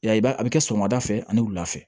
Ya a bɛ kɛ sɔgɔmada fɛ ani wula fɛ